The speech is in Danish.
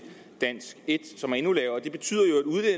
dansk en som er endnu lavere det betyder